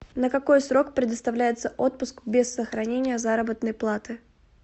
на какой срок предоставляется отпуск без сохранения заработной платы